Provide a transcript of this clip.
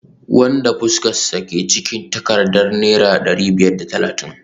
wanda fuskarsa ke cikin takardar naira dari biyar da talatin